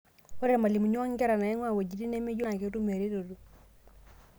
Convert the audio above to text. Ore irmalimuni o nkera naing'ua wejitin nemeyioloi naa ketum eretoto.